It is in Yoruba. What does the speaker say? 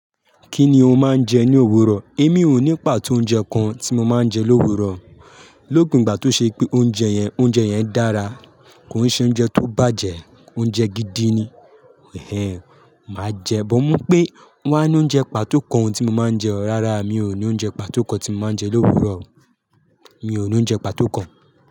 Kí ni o máa ń jẹ ní òwúrọ̀? Èmi ò ní pàtó oúnjẹ kan tí mo máa ń jẹ l'òwúrọ. Lópin igbà tó ṣe pé oúnjẹ yẹn, oúnjẹ yẹn dára. Kò un se oúnjẹ tó bàjẹ́, oúnjẹ gidi ni. Màá jẹ, bọ̀ mú pé mo wàá ní oúnjẹ pàtó kan tí mo máa ń jẹ. Rárá, mi ò ní oúnjẹ pàtó kan tí mo máa ń jẹ l'òwúrọ. Mi ò ní oúnjẹ pàtó kan.